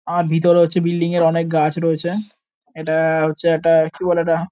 আর ভিতরে হচ্ছে বিল্ডিং -এর অনেক গাছ রয়েছে। এটা-আ- হচ্ছে একটা কি বলে এটা--